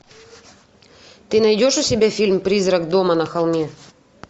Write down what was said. ты найдешь у себя фильм призрак дома на холме